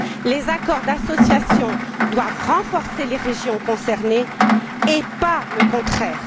Les accords d'association doivent renforcer les régions concernées et pas le contraire.